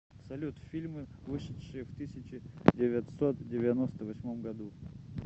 салют фильмы вышедшие в тысяче девятьсот девяносто восьмом году